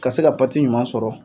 Ka se ka ɲuman sɔrɔ.